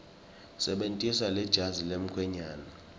sebentisa lejazi lemkhwenyane